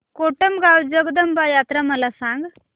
कोटमगाव जगदंबा यात्रा मला सांग